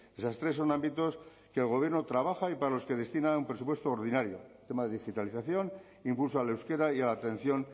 esas tres son ámbitos que el gobierno trabaja y para los que destina un presupuesto ordinario tema de digitalización impulso al euskera y a la atención